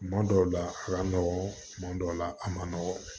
Kuma dɔw la a ka nɔgɔn tuma dɔw la a man nɔgɔn